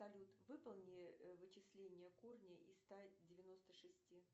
салют выполни вычисление корня из ста девяносто шести